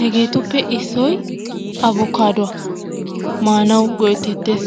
Hegeetuppe issoy abukkaadduwa. Maanawu go'etteettees.